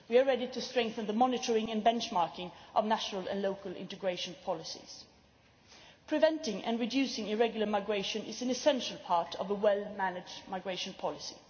We are ready to strengthen the monitoring and benchmarking of national and local integration policies. Preventing and reducing irregular migration is an essential part of a well managed migration policy.